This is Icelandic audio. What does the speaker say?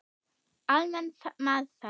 Almenn meðferð